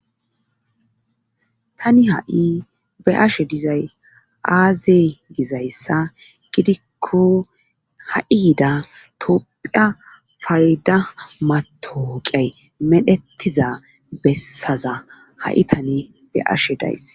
tani ha7i be ashe dizay aaze gizayssa gidikko ha7i yida tophiya fayda matooqey medhettiza bessaza ha7i tani be ashe days